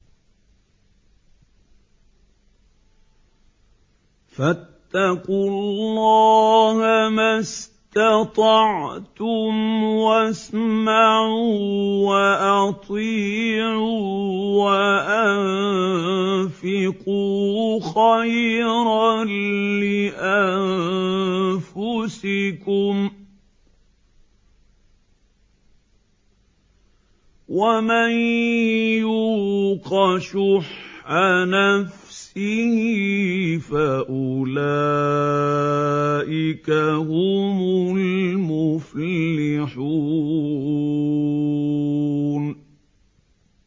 فَاتَّقُوا اللَّهَ مَا اسْتَطَعْتُمْ وَاسْمَعُوا وَأَطِيعُوا وَأَنفِقُوا خَيْرًا لِّأَنفُسِكُمْ ۗ وَمَن يُوقَ شُحَّ نَفْسِهِ فَأُولَٰئِكَ هُمُ الْمُفْلِحُونَ